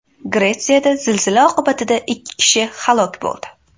Gretsiyada zilzila oqibatida ikki kishi halok bo‘ldi.